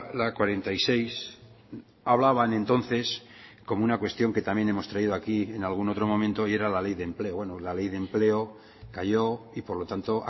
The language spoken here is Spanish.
la cuarenta y seis hablaban entonces como una cuestión que también hemos traído aquí en algún otro momento y era la ley de empleo bueno la ley de empleo cayó y por lo tanto